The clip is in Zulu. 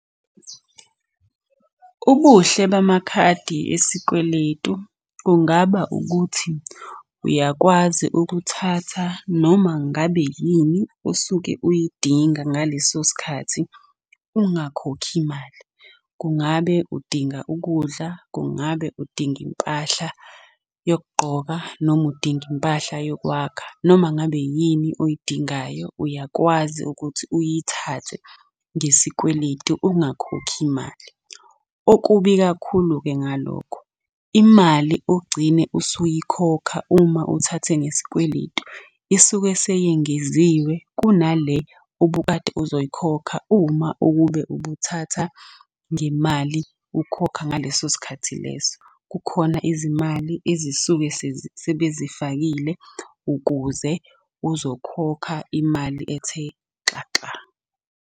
Ubuhle bamakhadi esikweletu kungaba ukuthi uyakwazi ukuthatha noma ngabe yini osuke uyidinga ngaleso sikhathi ungakhokhi mali. Kungabe udinga ukudla, kungabe udinga impahla yokugqoka noma udinga impahla yokwakha, noma ngabe yini oyidingayo uyakwazi ukuthi uyithathe ngesikweletu ungakhokhi imali. Okubi kakhulu-ke ngalokho, imali ogcine usuyikhokha uma uthathe ngesikweletu isuke seyengeziwe kunale obukade uzoyikhokha uma ukube ubuthatha ngemali ukhokha ngaleso sikhathi leso. Kukhona izimali ezisuke sebezifakile ukuze uzokhokha imali ethe xaxa.